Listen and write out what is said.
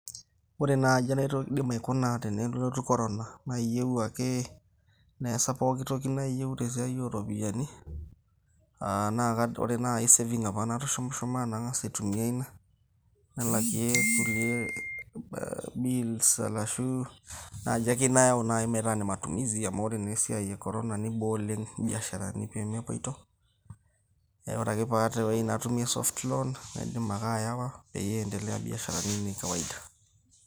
Ore naai enaidim aikuna tenelotu Corona nayieu ake neesa pooki toki niyieu te esiai ooropiyiani aa ore ake naai cssaving apa natushumushuma nang'as aitumia ina, nalakie kulie bills arashu naaji ake nayau metaa ine matumizi amu ore naa esiai e Corona niboo oleng' imbiasharani peemepoito. Neeku ore ake pee aata ewueji natumie soft loan naidim ake ayawa peyie iendelea imbiasharani ainei kawaida.